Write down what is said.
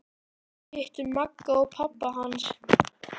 Við hittum Magga og pabba hans!